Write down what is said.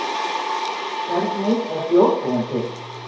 Hvernig er bjór búinn til?